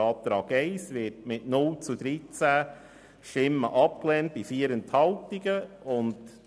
Der Abänderungsantrag 1 wird mit 0 Ja- gegen 13 Nein-Stimmen bei 4 Enthaltungen abgelehnt.